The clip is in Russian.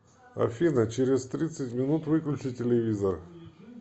афина через тридцать минут выключи телевизор